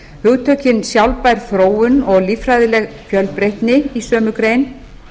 hugtökin sjálfbær þróun og líffræðileg fjölbreytni í sömu grein